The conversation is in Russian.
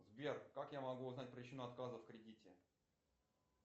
сбер как я могу узнать причину отказа в кредите